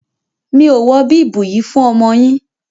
Mi o wọ bíbùù yíì fún ọmọ yín.